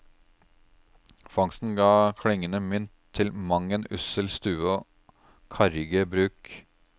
Fangsten ga klingende mynt til mang en ussel stue og karrige bruk.